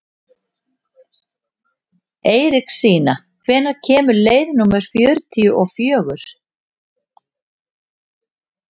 Eiríksína, hvenær kemur leið númer fjörutíu og fjögur?